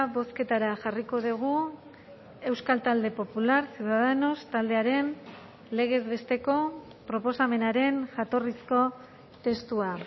bozketara jarriko dugu euskal talde popular ciudadanos taldearen legez besteko proposamenaren jatorrizko testua